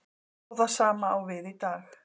Og það sama á við í dag.